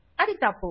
అది తప్పు